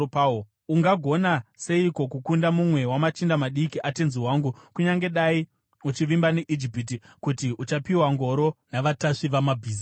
Ungagona seiko kukunda mumwe wamachinda madiki atenzi wangu kunyange dai uchivimba neIjipiti kuti uchapiwa ngoro navatasvi vamabhiza?